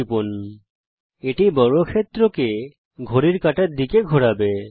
এটি 60° কোণের সঙ্গে নির্বাচন বিন্দুতে বর্গক্ষেত্রকে ঘড়ির কাঁটার দিকে ঘোড়াবে